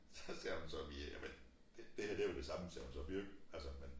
Så sagde hun så vi jamen det her det jo det samme sagde hun så vi jo ikke altså men